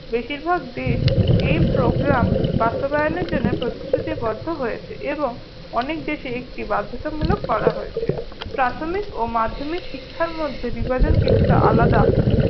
বেশিরভাগ দেশ এই program বাস্তবায়নের জন্য শ্রুতিবদ্ধ হয়েছে এবং অনেক দেশে এটি বাধ্যতামূলক করা হয়েছে। প্রাথমিক ও মাধ্যমিক শিক্ষার মধ্যে বিভাজন কিছুটা আলাদা